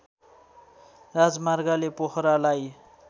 राजमार्गले पोखरालाई